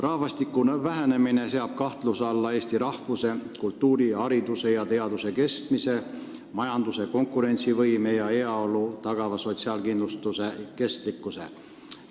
Rahvastiku vähenemine seab kahtluse alla Eesti rahvuse, kultuuri, hariduse ja teaduse kestmise, majanduse konkurentsivõime ja heaolu tagava sotsiaalkindlustuse kestlikkuse.